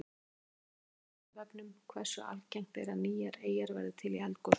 Frekara lesefni á Vísindavefnum: Hversu algengt er að nýjar eyjar verði til í eldgosum?